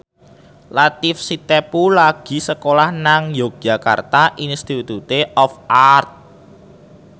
Latief Sitepu lagi sekolah nang Yogyakarta Institute of Art